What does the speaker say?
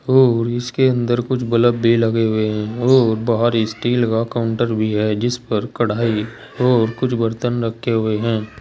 और इसके अंदर कुछ बलब भी लगे हुए हैं और बाहरी स्टील का काउंटर भी है जिस पर कढ़ाई और कुछ बर्तन रखे हुए हैं।